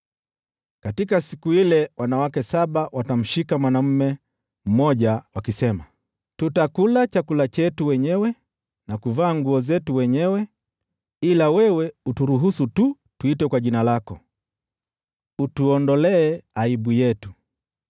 Katika siku ile wanawake saba watamshika mwanaume mmoja wakisema, “Tutakula chakula chetu wenyewe na kuvaa nguo zetu wenyewe, ila wewe uturuhusu tu tuitwe kwa jina lako. Utuondolee aibu yetu!”